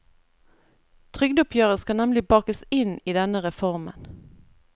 Trygdeoppgjøret skal nemlig bakes inn i denne reformen.